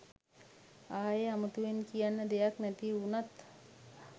ආයෙ අමුතුවෙන් කියන්න දෙයක් නැති වුනත්